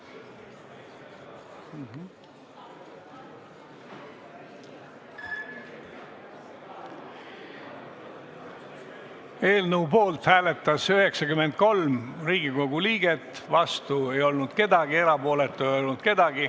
Hääletustulemused Eelnõu poolt hääletas 93 Riigikogu liiget, vastu ei olnud keegi ja ka erapooletuid ei olnud.